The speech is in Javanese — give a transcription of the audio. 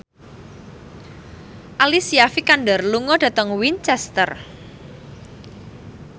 Alicia Vikander lunga dhateng Winchester